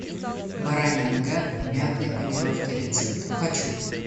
баранья нога в мятной панировке рецепт хочу